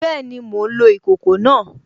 Bẹ́ẹ̀ni, mò ń lo ìkòkò náà